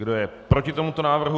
Kdo je proti tomuto návrhu?